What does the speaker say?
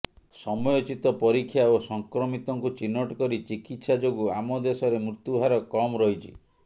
ସମୟୋଚିତ ପରୀକ୍ଷା ଓ ସଂକ୍ରମିତଙ୍କୁ ଚିହ୍ନଟ କରି ଚିକିତ୍ସା ଯୋଗୁଁ ଆମ ଦେଶରେ ମୃତ୍ୟୁ ହାର କମ ରହିଛି